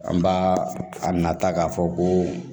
An b'a a nata k'a fɔ ko